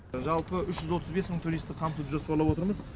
жалпы үш жүз отыз бес мың туристі қамтып жоспарлап отырмыз